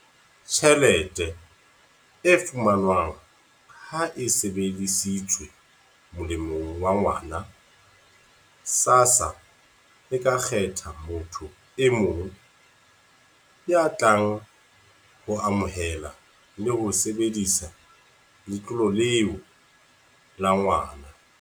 "tjhelete e fumanwang ha e sebedisetswe molemong wa ngwana, SASSA e ka kgetha motho e mong ya tlang ho amohela le ho sebedisa letlole leo lebitsong la ngwana."